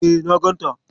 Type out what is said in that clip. E, na ganta.